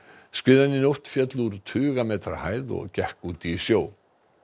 skriðan í nótt féll úr tuga metra hæð og gekk út í sjó